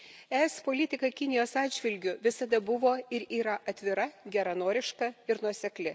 ES politika Kinijos atžvilgiu visada buvo ir yra atvira, geranoriška ir nuosekli.